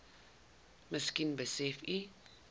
miskien besef u